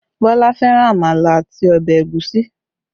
Bọlá fẹ́ràn àmàlà àti ọbẹ̀ ẹ̀gúsí